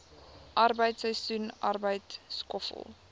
arbeid seisoensarbeid skoffel